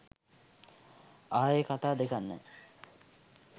ආයේ කතා දෙකක් නැ